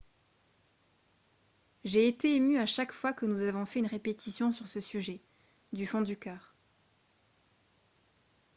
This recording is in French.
« j’ai été ému à chaque fois que nous avons fait une répétition sur ce sujet du fond du cœur. »